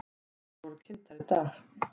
Þær voru kynntar í dag.